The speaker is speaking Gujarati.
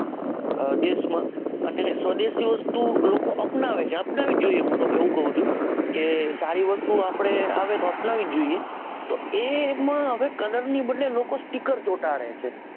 હા દેશ માં અને સ્વદેશની વસ્તુ લોકો અપનાવે છે. અપનાવી જ જોઈએ હું તો કવ છું. સારી વસ્તુ આવે તો આપણે અપનાવી જ જોઈએ. તો એ એમાં હવે colour ની જગ્યા એ લોકો sticker ચોંટાડે છે.